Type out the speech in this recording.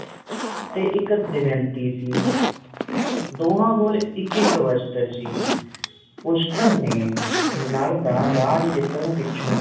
ਤੇ ਇਕ ਦਮਯੰਤੀ ਸੀ ਦੋਹਾਂ ਕੋਲ ਏਕੇ ਇਕ ਵਸਤਰ ਸੀ ਪੁਸ਼ਕਰ ਨੇ ਨੱਲ ਦਾ ਰਾਜ ਜਿੱਤਣ ਪਿੱਛੋਂ